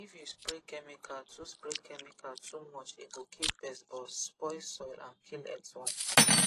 if you spray chemical too spray chemical too much e go kill pest but spoil soil and kill earthworm